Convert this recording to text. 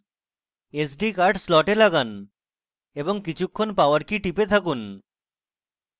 sd card slot লাগান এবং কিছুক্ষণ power key টিপে থাকুন